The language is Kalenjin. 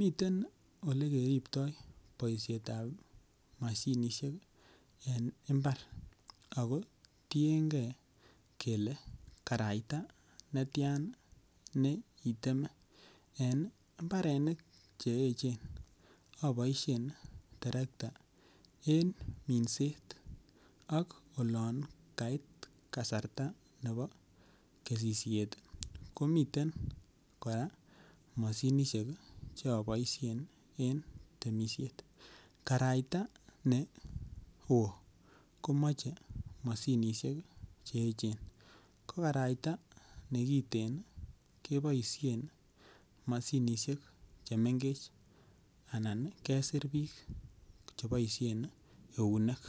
miten Ole keriptoi boisiet ab mashinisiek en mbar ago tienge kele karaita netian niteme en mbarenik Che echen aboisien terekta en minset ak olon kait kasarta nebo kesisiet ii komiten kora Che aboisien en temisiet karaita neo ko moche mashinisiek Che echen ko karaita nekiten keboisien mashinisiek Che mengech anan kesir bik Che boisyen eunek